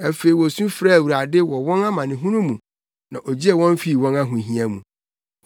Afei wosu frɛɛ Awurade wɔ wɔn amanehunu mu, na ogyee wɔn fii wɔn ahohia mu.